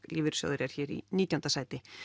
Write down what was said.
lífeyrissjóður er hér í nítjánda sæti